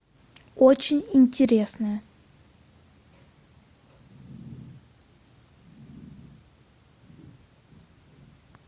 очень интересное